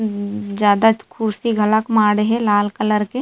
ज्यादा खुर्सी गलक मारे है लाल कलर के।